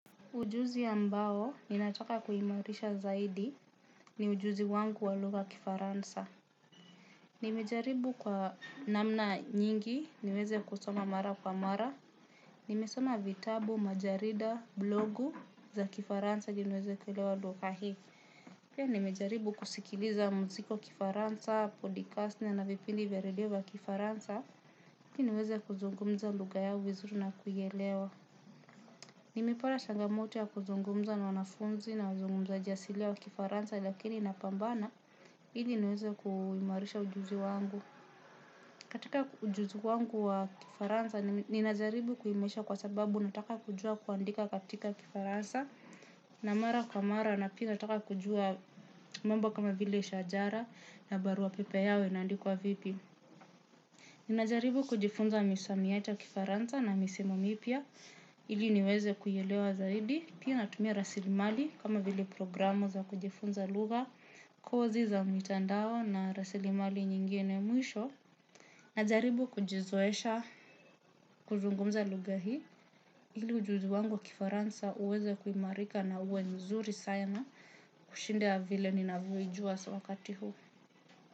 Ujuzi ambao ninataka kuimarisha zaidi ni ujuzi wangu wa lugha ya kifaransa. Nimejaribu kwa namna nyingi, niweze kusoma mara kwa mara. Nimesoma vitabu, majarida, blogu za kifaransa ili niweze kuelewa lugha hii. Pia nimejaribu kusikiliza mziki wa kifaransa, podcast na na vipindi vya redio vya kifaransa. Ili niweze kuzungumza lugha yao vizuri na kuielewa. Nimepata changamoto ya kuzungumza na wanafunzi na wazungumzaji asilia wa kifaransa lakini napambana ili niweze kuimarisha ujuzi wangu. Katika ujuzi wangu wa kifaransa, ninajaribu kuimarisha kwa sababu nataka kujua kuandika katika kifaransa mara kwa mara na pia nataka kujua mambo kama vile shajara na barua pepe yao ina andikwa vipi. Nina jaribu kujifunza misamiati ya kifaransa na misimu mipya ili niweze kuielewa zaidi pia natumia rasilimali kama vile programu za kujifunza lugha kozi za mitandao na rasilimali nyingine mwisho. Najaribu kujizoesha kuzungumza lugha hii ili ujuzi wangu wa kifaransa uweze kuimarika na uwe nzuri sana kushinda vile ninavyoijua wakati huu.